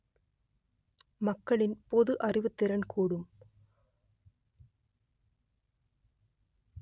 மக்களின் பொது அறிவுத்திறன் கூடும்